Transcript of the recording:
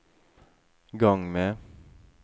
gang med